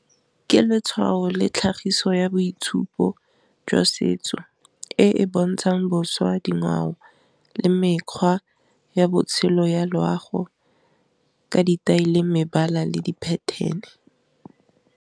Ke letshwao le tlhagiso ya boitshupo jwa setso e e bontshang boswa dingwao le mekgwa ya botshelo ya loago, ka di-tyle, mebala, le di pattern-e.